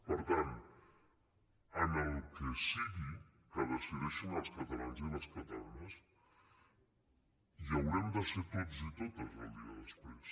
per tant en el que sigui que decideixin els catalans i les catalanes hi haurem de ser tots i totes el dia des·prés